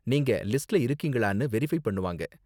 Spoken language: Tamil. நீங்க லிஸ்ட்ல இருக்கீங்களான்னு வெரிஃபை பண்ணுவாங்க.